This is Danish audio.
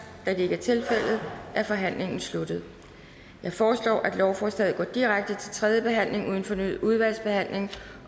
da det ikke er tilfældet er forhandlingen sluttet jeg foreslår at lovforslaget går direkte til tredje behandling uden fornyet udvalgsbehandling